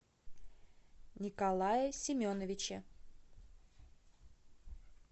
николае семеновиче